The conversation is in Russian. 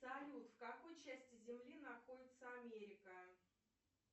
салют в какой части земли находится америка